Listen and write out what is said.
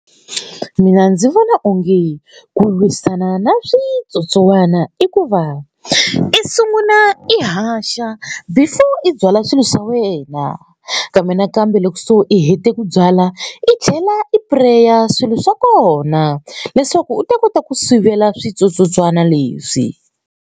Mina ndzi vona onge ku lwisana na switsotsowana i ku va i sungula i haxa before i byala swilo swa wena kambe nakambe loko so i hete ku byala i tlhela i pureya swilo swa kona leswaku u ta kota ku sivela switsotsotswana leswi.